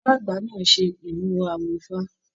Bàbá àgbà náà ṣe imuwọ̀ awo ifá.